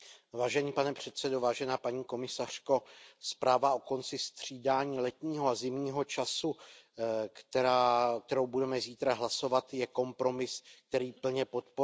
Pane předsedající, paní komisařko, zpráva o konci střídání letního a zimního času, o které budeme zítra hlasovat, je kompromis, který plně podporuji.